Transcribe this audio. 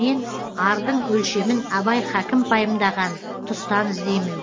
мен ардың өлшемін абай хакім пайымдаған тұстан іздеймін